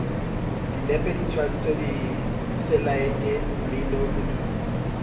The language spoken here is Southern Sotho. dinepe ditshwantsho diselaete mmino modumo